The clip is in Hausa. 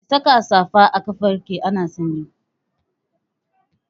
Ki saka safa a kafarki ana sanyi!